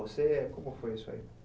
Como foi isso aí?